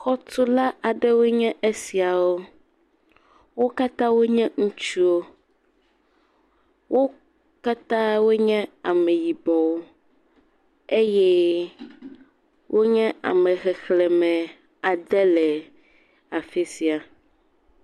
Xɔ tula aɖe woe nye esiawo. Wo katã wò nye ŋutsuwo. Wo katã wò nye ame yibɔwo eye wonye ame xexlẽme ade le afisia.